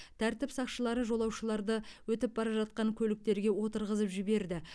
тәртіп сақшылары жолаушыларды өтіп бара жатқан көліктерге отырғызып жіберді